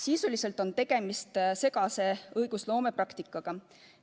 Sisuliselt on tegemist segase õigusloomepraktikaga.